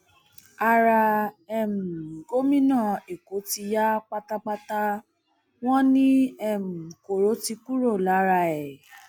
ara um gómìnà èkó ti yá pátápátá wọn ni um koro ti kúrò lára ẹ